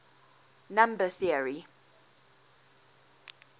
number theory